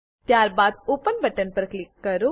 ત્યારબાદ open button પર click કરો